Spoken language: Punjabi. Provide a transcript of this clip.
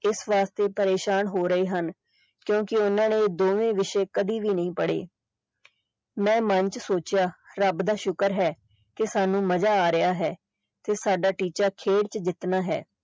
ਇਸ ਵਾਸਤੇ ਪਰੇਸ਼ਾਨ ਹੋ ਰਹੇ ਹਨ ਕਿਉਂਕਿ ਓਹਨਾ ਨੇ ਇਹ ਦੋਵੇਂ ਵਿਸ਼ੇ ਕਦੀ ਵੀ ਨਹੀਂ ਪੜੇ ਮੈਂ ਮੰਨ ਚ ਸੋਚਿਆ ਕਿ ਰੱਬ ਦਾ ਸ਼ੁਕਰ ਹੈ ਕਿ ਸਾਨੂ ਮਜਾ ਆ ਰਿਹਾ ਹੈ ਕਿ ਸਾਡਾ ਟੀਚਾ ਖੇਡ ਚ ਜਿੱਤਣਾ ਹੈ।